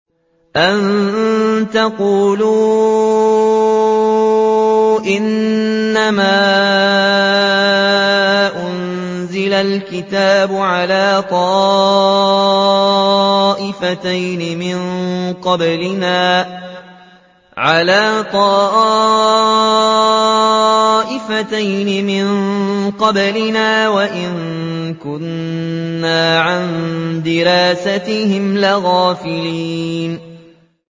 أَن تَقُولُوا إِنَّمَا أُنزِلَ الْكِتَابُ عَلَىٰ طَائِفَتَيْنِ مِن قَبْلِنَا وَإِن كُنَّا عَن دِرَاسَتِهِمْ لَغَافِلِينَ